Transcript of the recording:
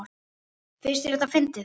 Finnst þér þetta fyndið?